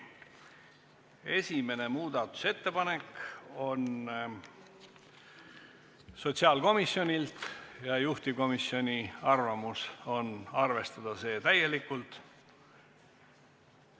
Esimene muudatusettepanek on sotsiaalkomisjonilt ja juhtivkomisjoni arvamus on arvestada seda täielikult.